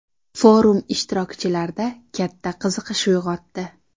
Forum ishtirokchilarda katta qiziqish uyg‘otdi.